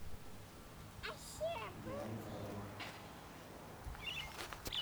белый кролик